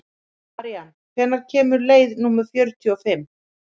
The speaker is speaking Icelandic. Marían, hvenær kemur leið númer fjörutíu og fimm?